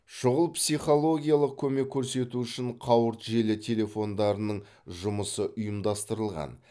шұғыл психологиялық көмек көрсету үшін қауырт желі телефондарының жұмысы ұйымдастырылған